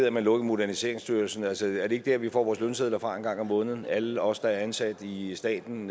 at man lukkede moderniseringsstyrelsen altså er det ikke der vi får vores lønsedler fra en gang om måneden alle os der er ansat i staten